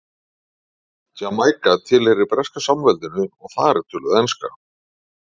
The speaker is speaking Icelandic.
Jamaíka tilheyrir Breska samveldinu og þar er töluð enska.